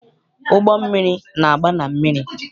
Ụgbọmmiri na-agba na mmiri.